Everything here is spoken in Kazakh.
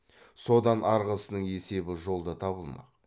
содан арғысының есебі жолда табылмақ